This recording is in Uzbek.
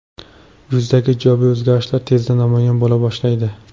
Yuzdagi ijobiy o‘zgarishlar tezda namoyon bo‘la boshlaydi.